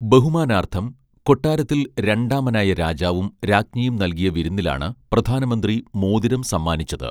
ബഹുമാനാർഥം കൊട്ടാരത്തിൽ രണ്ടാമൻ ആയ രാജാവും രാജ്ഞിയും നൽകിയ വിരുന്നിലാണ് പ്രധാനമന്ത്രി മോതിരം സമ്മാനിച്ചത്